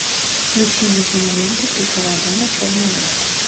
включи мне киноленту пиковая дама черный обряд